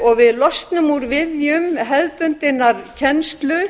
og við losnum úr viðjum hefðbundinnar kennslu